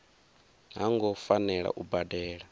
ha ngo fanela u badela